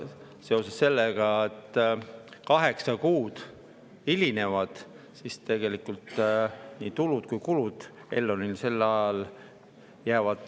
Seetõttu, et kaheksa kuud hilinetakse, jäävad Elronil sel ajal kulud ära ja tulud saamata.